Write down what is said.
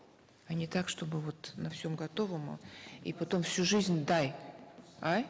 а не так чтобы вот на всем готовом и потом всю жизнь дай а